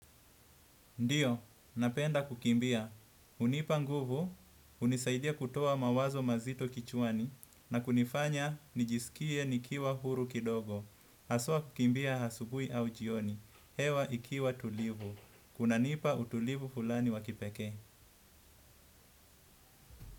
Ndiyo, napenda kukimbia. Hunipa nguvu hunisaidia kutoa mawazo mazito kichwani na kunifanya nijiskie nikiwa huru kidogo. Aswa kukimbia hasubui au jioni. Hewa ikiwa tulivu. Kun nipa utulivu fulani wa kipekee.